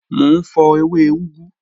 Mọ̀ n fọ̀ ẹwẹ̀ ugù